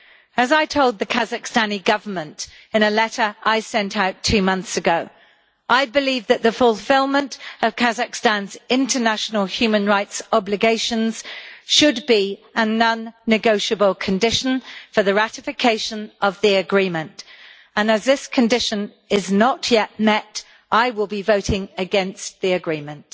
As I told the Kazakh Government in a letter I sent out two months ago, I believe that the fulfilment of Kazakhstan's international human rights obligations should be a non-negotiable condition for the ratification of the Agreement, and as this condition is not yet met, I will be voting against the Agreement.